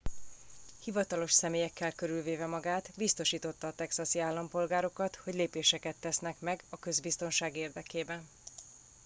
hivatalos személyekkel körülvéve magát biztosította a texasi állampolgárokat hogy lépéseket tesznek meg a közbiztonság érdekében